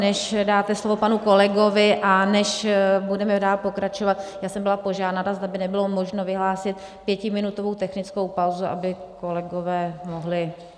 Než dáte slovo panu kolegovi a než budeme dál pokračovat, já jsem byla požádána, zda by nebylo možno vyhlásit pětiminutovou technickou pauzu, aby kolegové mohli...